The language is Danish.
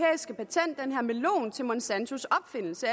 og melon til monsantos opfindelse